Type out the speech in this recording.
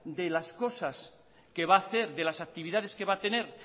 de las cosas que va a hacer de las actividades que va a tener